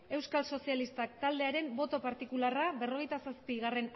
euskal sozialistak taldearen boto partikularra berrogeita zazpigarrena